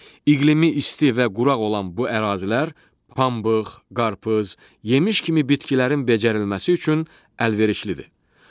İqlimi isti və quraq olan bu ərazilər pambıq, qarpız, yemiş kimi bitkilərin becərilməsi üçün əlverişlidir.